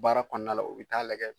Baara kɔnɔna la, u bɛ taa lajɛ